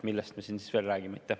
Millest me siin siis veel räägime?